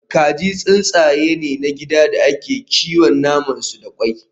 Kaji tsuntsaye ne na gida da ake kiwon naman su da kwai